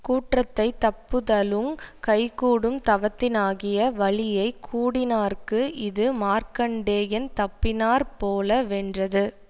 கூற்றத்தைத் தப்புதலுங் கைகூடும் தவத்தினாகிய வலியை கூடினார்க்கு இது மார்க்கண்டேயன் தப்பினாற்போல வென்றது